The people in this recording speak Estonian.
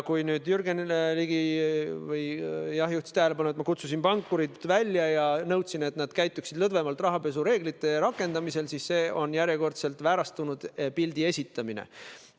Kui nüüd Jürgen Ligi juhtis tähelepanu sellele, et ma kutsusin pankurid välja ja nõudsin, et nad käituksid rahapesureeglite rakendamisel lõdvemalt, siis see on järjekordselt väärastunud pildi esitamine.